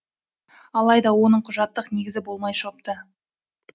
алайда оның құжаттық негізі болмай шығыпты